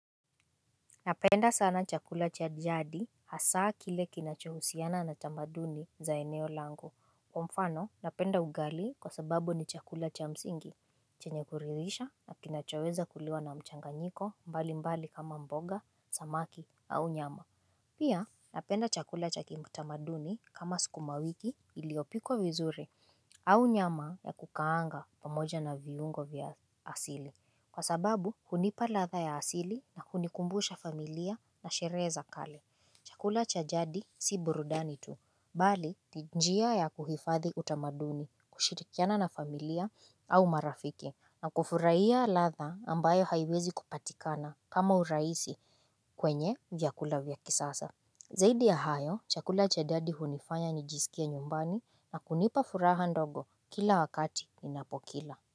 Napenda sana chakula cha jadi hasa kile kinachohusiana na tamaduni za eneo langu. Mfano, napenda ugali kwa sababu ni chakula cha msingi, chenye kuridhisha na kinachoweza kuliwa na mchanganyiko mbali mbali kama mboga, samaki au nyama. Pia, napenda chakula cha kiutamaduni kama sukumawiki iliyopikwa vizuri au nyama ya kukaanga pamoja na viungo vya asili. Kwa sababu, hunipa ladha ya asili na kunikumbusha familia na sherehe za kale. Chakula cha jadi si burudani tu. Bali, ni njia ya kuhifadhi utamaduni, kushirikiana na familia au marafiki. Na kufurahia ladha ambayo haiwezi kupatikana kama urahisi kwenye vyakula vya kisasa. Zaidi ya hayo, chakula cha jadi hunifanya nijisikie nyumbani na kunipa furaha ndogo kila wakati ninapokila.